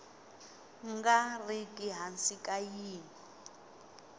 nga riki hansi ka yin